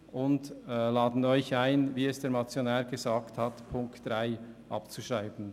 Wir laden Sie ein, wie es der Motionär gesagt hat, die Ziffer 3 abzuschreiben.